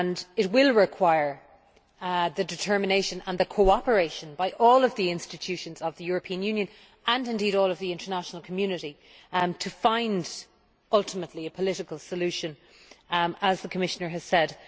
It will require the determination and the cooperation of all of the institutions of the European Union and indeed of all of the international community to find ultimately a political solution, as the Commissioner has said.